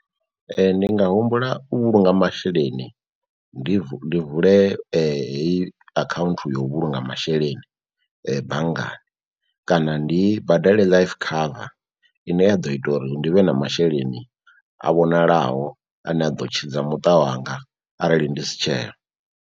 Ee, ndi nga humbula u vhulunga masheleni ndi vule heyi account yo vhulunga masheleni banngani kana ndi badele life cover ine ya ḓo ita uri ndi vhe na masheleni a vhonalaho ane a ḓo tshidza muṱa wanga arali ndi si tsheho.